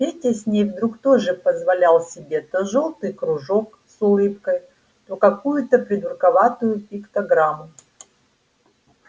петя с ней вдруг тоже позволял себе то жёлтый кружок с улыбкой то какую-то придурковатую пиктограмму